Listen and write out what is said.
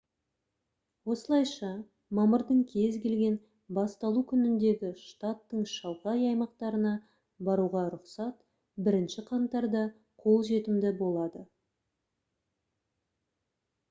осылайша мамырдың кез келген басталу күніндегі штаттың шалғай аймақтарына баруға рұқсат 1 қаңтарда қолжетімді болады